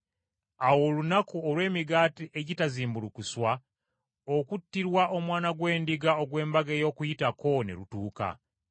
Awo olunaku olw’Emigaati Egitazimbulukuswa, okuttirwa omwana gw’endiga ogw’embaga y’Okuyitako, ne lutuuka.